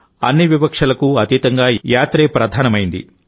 అన్ని వివక్షలకు అతీతంగా యాత్రే ప్రధానమైంది